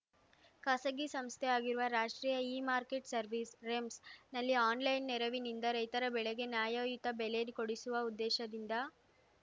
ಖಾಸಗಿ ಸಂಸ್ಥೆಯಾಗಿರುವ ರಾಷ್ಟ್ರೀಯ ಇಮಾರ್ಕೆಟ್‌ ಸರ್ವಿಸ್ ರೆಮ್ಸ್‌ನಲ್ಲಿ ಆನ್‌ಲೈನ್‌ ನೆರವಿನಿಂದ ರೈತರ ಬೆಳೆಗೆ ನ್ಯಾಯಯುತ ಬೆಲೆ ಕೊಡಿಸುವ ಉದ್ದೇಶದಿಂದ